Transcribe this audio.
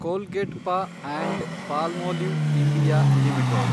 ಕೋಲ್ಗೇಟ್ಪಾ and Palmolive India limited